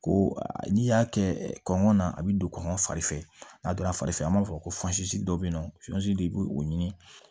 Ko n'i y'a kɛ kɔngɔ na a bɛ don kɔngɔ fari fɛ a donna fari fɛ an b'a fɔ ko dɔ bɛ yen nɔ i b'o o ɲini